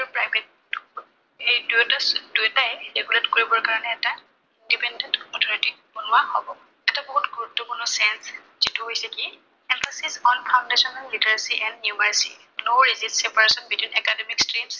এইটো এটা, দুইটাই regulate কৰিবৰ কাৰনে এটা independent authority বনোৱা হব। এটা বহুত গুৰুত্বপূ্ৰ্ণ change যিটো হৈছে কি emphasis on foundational literacy and numeracy no is it separation between academic change